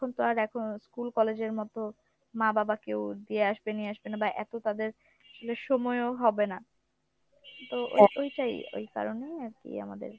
তখন তো আর এখন school college এর মত মা বাবা কেউ দিয়ে আসবে নিয়ে আসবে না বা এত তাদের সময়ও হবে না তো ওইটাই , ওই কারণেই আরকি আমাদের